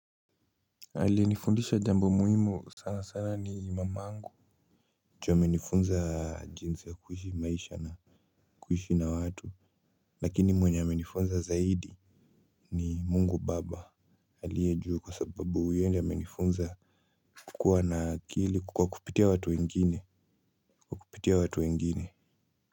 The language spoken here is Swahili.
Aliyenifundisha jambo muhimu sana sana ni mamangu, ju amenifunza jinsi ya kuishi maisha na, kuishi na watu lakini mwenye amenifunza zaidi, ni mungu baba aliye juu, kwa sababu yeye ndio amenifunza kukua na akili kwa kupitia watu wengine, kwa kupitia watu wengine.